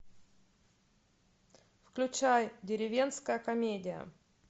включай деревенская комедия